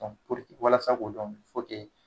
walasa k'o dɔn